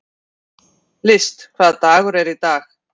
List, hvaða dagur er í dag?